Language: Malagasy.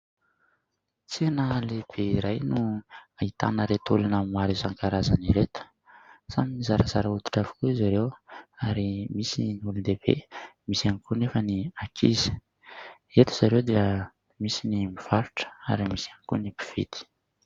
Tsena lehibe iray no ahitana ireto olona maro isankarazany ireto. Samy zarazara hoditra avokoa izy ireo, ary misy ny olon-dehibe, misy ihany koa anefa ny ankizy. Eto izy ireo dia misy ny mpivarotra, ary misy ihany koa ny mpividy.